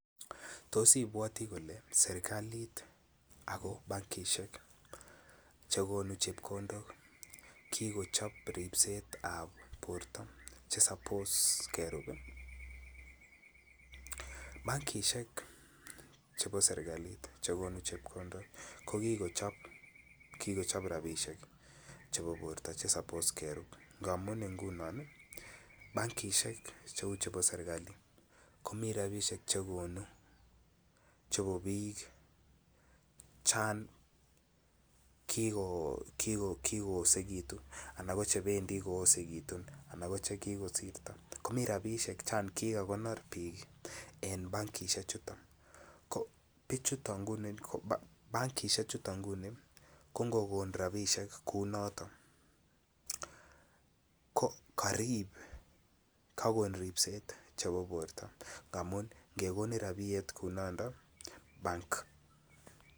Tos ipwoti kole serikalit ako bankishek chekonu chepkondok kikochop ripset ab borto chesapos kerup bankishek chebo serikalit chekonu chepkondok kokikochop rapisiek chebo borto chesobos kerup ngamun ngunon bankishek cheu chepo serikali komi rapisiek chekonu chebo biik chon kiko osekitu ala koche bendi koosekitu anan koche kikosrto komii rapisiek chan kikakonor biik en bankishechuton ko bichuton bankishechuton nguni ko ngoko rapisiek kou noto ko karip kakon ripset nebo borto ngamun ngekonin rapiet kou nondon bank .